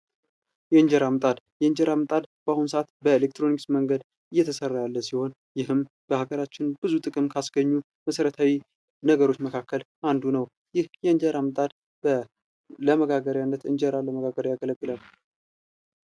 የእንጀራ ምጣድ ፦ የእንጀራ ምጣድ በአሁን ሰዓት በኤሌክትሮኒክስ መንገድ እየተሰራ ያለ ሲሆን ይህም በሀገራችን ብዙ ጥቅም ካስገኙ መሰረታዊ ነገሮች መካከል አንዱ ነው ። ይህ የእንጀራ ምጣድ ለመጋገሪያነት እንጀራ ለመጋገር ያገለግላል ።